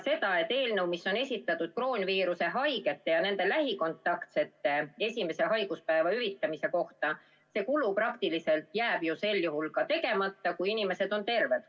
See eelnõu käsitleb kroonviirushaigete ja nende lähikontaktsete esimese haiguspäeva hüvitamist ja see kulu jääb praktiliselt ju tegemata, kui inimesed on terved.